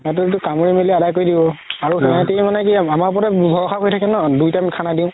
তাতেতো কামোৰি মেলি কৰি দিব আৰু সেহেতি মানে কি আমাৰ উপৰতে ভৰখা কৰি থাকে ন দুই time খানা দিও